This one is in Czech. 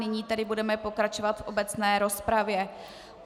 Nyní tedy budeme pokračovat v obecné rozpravě.